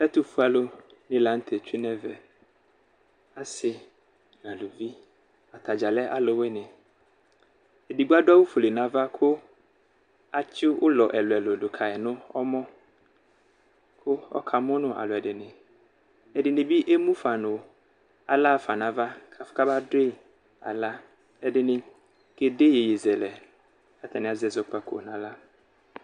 Ɛtʋfue alʋ ni lanʋtɛ tsue nʋ ɛvɛ asi nʋ alʋvi atadza lɛ alʋwini edigbo adʋ awʋ fuele nʋ ava kʋ atsi ʋlɔ ɛlʋ ɛlʋ ɛkʋ dʋ kayi nʋ ɔmɔ kʋ ɔka mʋnʋ alʋɛdini ɛdini bi emʋnʋ aɣla xafa nʋ ava kʋ afʋ kama dʋyi aɣla ɛdini kede iyeye zɛlɛ kʋ ɛzɔkpako dʋnafa nʋ aɣla